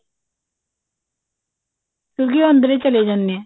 ਕਿਉਂਕਿ ਉਹ ਅੰਦਰ ਹੀ ਚਲੇ ਜਾਂਦੇ ਆ